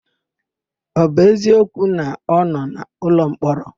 Ọ bụ eziokwu na ọ nọ n'ụlọmkpọrọ?